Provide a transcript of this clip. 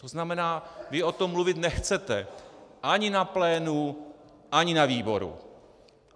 To znamená, vy o tom mluvit nechcete - ani na plénu, ani na výboru.